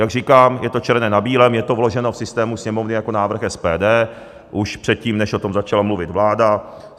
Jak říkám, je to černé na bílém, je to vloženo v systému Sněmovny jako návrh SPD už předtím, než o tom začala mluvit vláda.